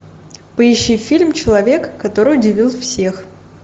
поищи фильм человек который удивил всех